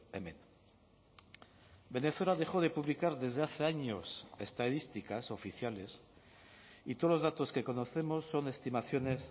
hemen venezuela dejó de publicar desde hace años estadísticas oficiales y todos los datos que conocemos son estimaciones